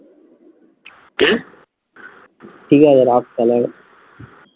ঠিক আছে রাখ তাহলে